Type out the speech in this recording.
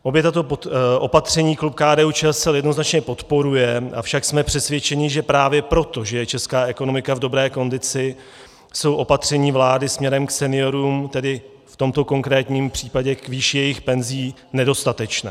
Obě tato opatření klub KDU-ČSL jednoznačně podporuje, avšak jsme přesvědčeni, že právě proto, že je česká ekonomika v dobré kondici, jsou opatření vlády směrem k seniorům, tedy v tomto konkrétním případě k výši jejich penzí, nedostatečná.